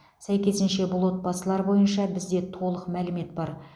сәйкесінше бұл отбасылар бойынша бізде толық мәлімет бар